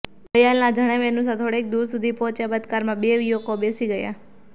દયાલના જણાવ્યા અનુસાર થોડેક દૂર સુધી પહોંચ્યા બાદ આ કારમાં બે યુવકો બેસી ગયા